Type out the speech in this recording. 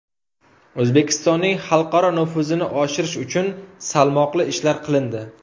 O‘zbekistonning xalqaro nufuzini oshirish uchun salmoqli ishlar qilindi.